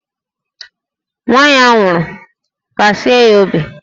Nwa ya nwụrụ, kasie ya obi!